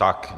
Tak.